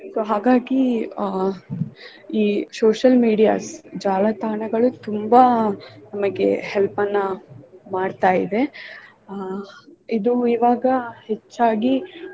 So ಹಾಗಾಗಿ uh ಈ social medias ಜಾಲತಾಣಗಳು ತುಂಬಾ ನಮಗೆ help ನ್ನಾ ಮಾಡ್ತಾ ಇದೆ ಅಹ್ ಇದು ಈವಾಗ ಹೆಚ್ಚಾಗಿ.